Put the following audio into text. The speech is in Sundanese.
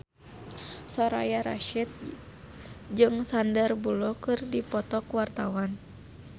Soraya Rasyid jeung Sandar Bullock keur dipoto ku wartawan